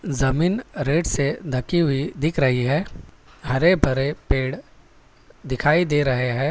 जमीन रेट से ढकी हुई दिख रही है हरे भरे पेड़ दिखाई दे रहे हैं।